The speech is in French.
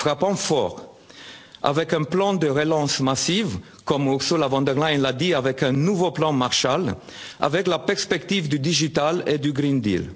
bras. Frappons fort avec un plan de relance massive, comme Ursula von der Leyen l'a dit, avec un nouveau plan Marshall, avec la perspective du digital et du